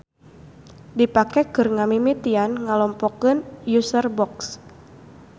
Dipake keur ngamimitian ngelompokeun userbox.